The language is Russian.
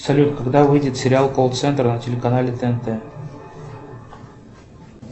салют когда выйдет сериал колл центр на телеканале тнт